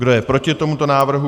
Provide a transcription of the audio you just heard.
Kdo je proti tomu návrhu?